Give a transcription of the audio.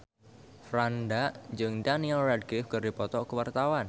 Franda jeung Daniel Radcliffe keur dipoto ku wartawan